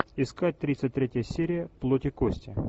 искать тридцать третья серия плоть и кости